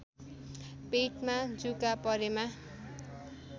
पेटमा जुका परेमा